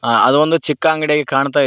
ಆ ಅದೊಂದು ಚಿಕ್ಕ ಅಂಗಡಿಯಾಗೆ ಕಾಣ್ತಾ--